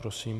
Prosím.